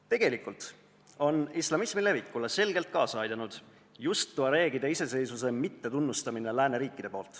Tegelikult on islamismi levikule selgelt kaasa aidanud just see, et lääneriigid ei ole tuareegide iseseisvust tunnustanud.